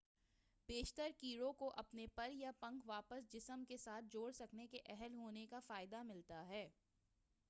بیشتر کیڑوں کو اپنے پر یا پنکھ واپس جسم کے ساتھ جوڑ سکنے کے اہل ہونے کا فائدہ ملتا ہے